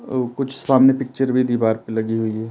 तो कुछ सामने पिक्चर भी दीवार पे लगे हुए हैं।